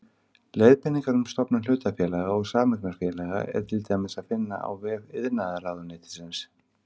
Leiðbeiningar um stofnun hlutafélaga og sameignarfélaga er til dæmis að finna á vef iðnaðarráðuneytisins.